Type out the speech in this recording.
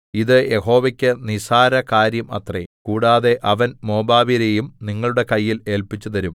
ഇത് യഹോവയ്ക്ക് നിസ്സാര കാര്യം അത്രേ കൂടാതെ അവൻ മോവാബ്യരെയും നിങ്ങളുടെ കയ്യിൽ ഏല്പിച്ചുതരും